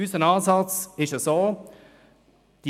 Unser Ansatz ist Folgender: